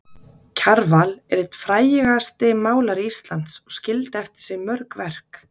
Kjarval er einn frægasti málari Íslands og skildi eftir sig mörg verk.